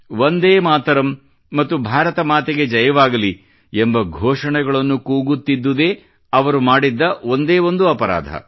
ವಂದೇ ಮಾತರಂ ಮತ್ತು ಭಾರತ ಮಾತೆಗೆ ಜಯವಾಗಲಿ ಎಂಬ ಘೋಷಣೆಗಳನ್ನು ಕೂಗುತ್ತಿದ್ದುದೇ ಅವರು ಮಾಡಿದ್ದ ಒಂದೇ ಒಂದು ಅಪರಾಧ